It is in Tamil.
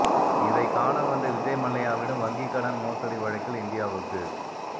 இதைக் காண வந்த விஜய் மல்லையாவிடம் வங்கிக் கடன் மோசடி வழக்கில் இந்தியாவுக்கு